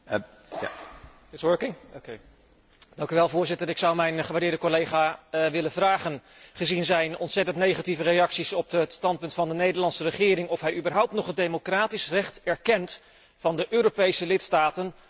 Voorzitter, ik zou mijn gewaardeerde collega willen vragen, gezien zijn ontzettend negatieve reacties op het standpunt van de Nederlandse regering, of hij überhaupt nog het democratisch recht erkent van de Europese lidstaten om een eigen mening te verkondigen namens hun burgers.